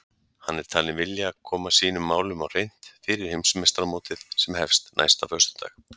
Hann er talinn vilja koma sínum málum á hreint fyrir Heimsmeistaramótið sem hefst næsta föstudag.